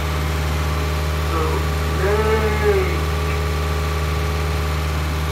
Tụ̀lèèk